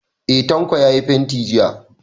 Eh, Tanko ya yi fenti jiya.